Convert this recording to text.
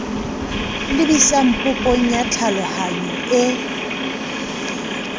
lebisang popong ya tlhalohanyo e